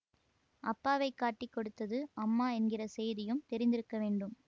அப்பாவைக் காட்டிக் கொடுத்தது அம்மா என்கிற செய்தியும் தெரிந்திருக்க வேண்டும்